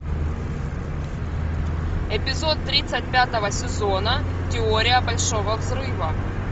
эпизод тридцать пятого сезона теория большого взрыва